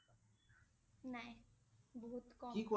নাই, বহুত কম